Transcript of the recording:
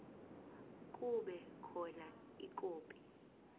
kube khona ikhophi